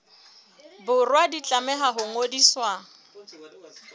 borwa di tlameha ho ngodiswa